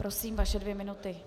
Prosím, vaše dvě minuty.